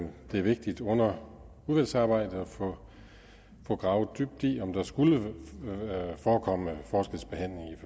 vigtigt under udvalgsarbejdet at få gravet dybt i om der skulle forekomme for